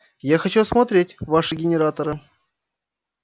я хочу осмотреть ваши генераторы